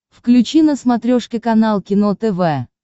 включи на смотрешке канал кино тв